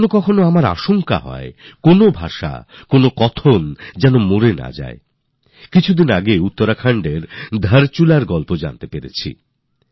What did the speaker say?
যদিও আমাদের এই কথাও চিন্তা হয় যে কখনও ভাষা বা বুলি শেষ হয়ে যাবে না তো অতীতে উত্তরাখণ্ডের ধারচুলার কাহিনী আমি পড়েছিলাম